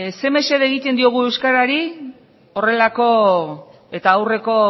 zein mesede egiten diogu euskarari horrelako eta aurreko